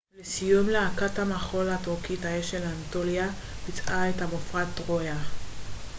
לסיום להקת המחול הטורקית האש של אנטוליה ביצעה את המופע טרויה